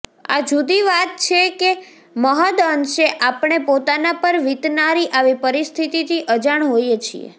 આ જુદી વાત છે કે મહદઅંશે આપણે પોતાના પર વિતનારી આવી પરિસ્થિતિથી અજાણ હોઈએ છીએ